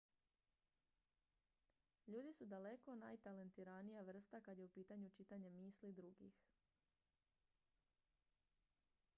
ljudi su daleko najtalentiranija vrsta kad je u pitanju čitanje misli drugih